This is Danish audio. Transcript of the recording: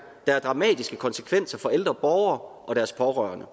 der har dramatiske konsekvenser for ældre borgere og deres pårørende